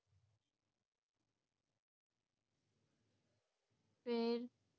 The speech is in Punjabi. ਫੇਰ